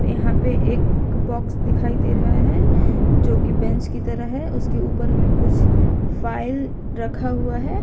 यहां पे एक बॉक्स दिखाई दे रहा है जो की बेंच की तरह है उसके ऊपर में कुछ फाइल रखा हुआ है।